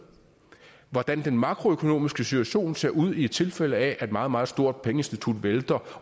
hvordan den makroøkonomiske situation ser ud i tilfælde af at et meget meget stort pengeinstitut vælter